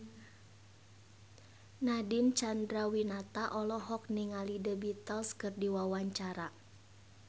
Nadine Chandrawinata olohok ningali The Beatles keur diwawancara